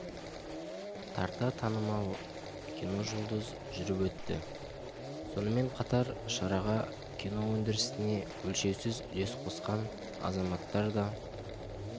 тарта танымал киножұлдыз жүріп өтті сонымен қатар шараға кино өндірісіне өлшеусіз үлес қосқан азаматтар да